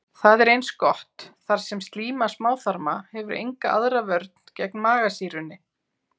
Það er eins gott, þar sem slíma smáþarma hefur enga aðra vörn gegn magasýrunni.